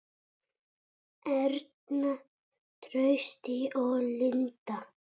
Erna, Trausti og Linda.